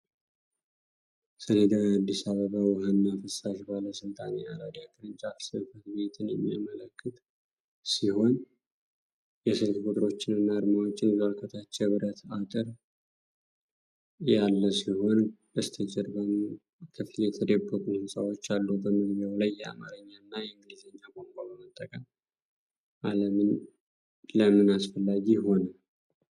ሌዳው የአዲስ አበባ ውሃና ፍሳሽ ባለሥልጣን የአራዳ ቅርንጫፍ ጽሕፈት ቤትን የሚያመለክት ሲሆን የስልክ ቁጥሮችንና አርማዎችን ይዟል። ከታች የብረት አጥር ያለ ሲሆን፣ በስተጀርባም በከፊል የተደበቁ ሕንፃዎች አሉ። በመግቢያው ላይ የአማርኛ እና የእንግሊዝኛ ቋንቋ መጠቀም ለምን አስፈላጊ ሆነ?